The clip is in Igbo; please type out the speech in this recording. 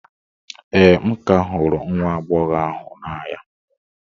ee, m ka hụrụ nwa agbọghọ ahụ n'anya